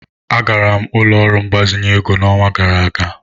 Agara m ụlọ ọrụ mgbazinye ego n'ọnwa gara aga.